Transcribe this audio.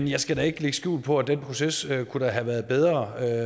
jeg skal ikke lægge skjul på at den proces da kunne have været bedre